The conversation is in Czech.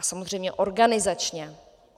A samozřejmě organizačně.